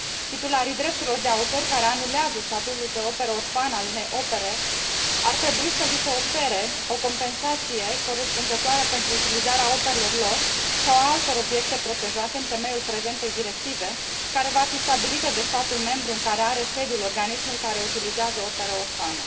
Titularilor drepturilor de autor care anulează statutul de operă orfană al unei opere ar trebui să li se ofere o compensație corespunzătoare pentru utilizarea operelor lor sau a altor obiecte protejate în temeiul prezentei directive, care va fi stabilită de statul membru în care are sediul organismul care utilizează opera orfană.